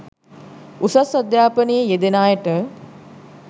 උසස් අධ්‍යාපනයේ යෙදෙන අයට